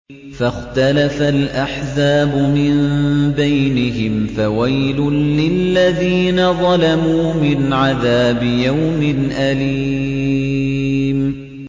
فَاخْتَلَفَ الْأَحْزَابُ مِن بَيْنِهِمْ ۖ فَوَيْلٌ لِّلَّذِينَ ظَلَمُوا مِنْ عَذَابِ يَوْمٍ أَلِيمٍ